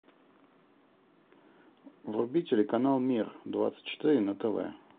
вруби телеканал мир двадцать четыре на тв